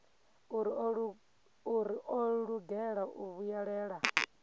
uri o lugela u vhuyelela